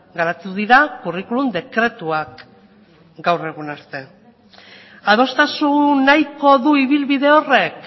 garatu dira curriculum dekretuak gaur egun arte adostasun nahiko du ibilbide horrek